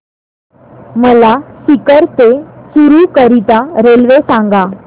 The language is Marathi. मला सीकर ते चुरु करीता रेल्वे सांगा